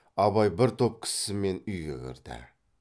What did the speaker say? абай бір топ кісімен үйге кірді